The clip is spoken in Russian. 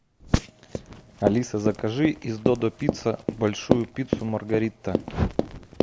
алиса закажи из додо пицца большую пиццу маргарита